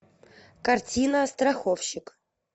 картина страховщик